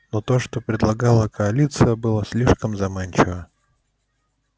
но то что предлагала коалиция было слишком заманчиво